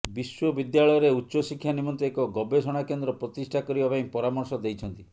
ବିଶ୍ୱବିଦ୍ୟାଳୟରେ ଉଚ୍ଚଶିକ୍ଷା ନିମନ୍ତେ ଏକ ଗବେଷଣା କେନ୍ଦ୍ର ପ୍ରତିଷ୍ଠା କରିବା ପାଇଁ ପରାମର୍ଶ ଦେଇଛନ୍ତି